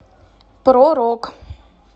про рок